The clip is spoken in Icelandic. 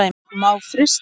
Má frysta.